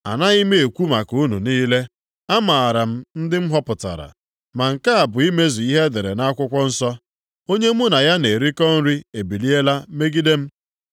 “Anaghị m ekwu maka unu niile, amaara m ndị m họpụtara. Ma nke a bụ imezu ihe e dere nʼakwụkwọ nsọ, ‘Onye mụ na ya na-erikọ nri ebiliela megide m.’ + 13:18 \+xt Abụ 41:9\+xt*